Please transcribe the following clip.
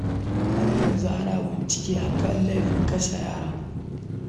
Har yanzu ana gudanar da bincike a kan laifin kashe yaron